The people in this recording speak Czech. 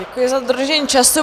Děkuji za dodržení času.